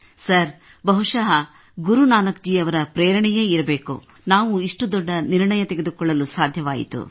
sir ಬಹುಶಃ ಗುರು ನಾನಕ್ ಜಿ ಅವರ ಪ್ರೇರಣೆಯೇ ಇರಬೇಕು ನಾವು ಇಷ್ಟು ದೊಡ್ಡ ನಿರ್ಣಯ ತೆಗೆದುಕೊಳ್ಳಲು ಸಾಧ್ಯವಾಯಿತು